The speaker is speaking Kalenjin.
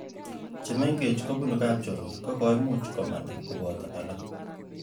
Chemengech kopunu kapnchorwa kokoimuch komanda keboto alak